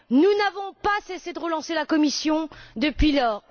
Nous n'avons pas cessé de relancer la Commission depuis lors.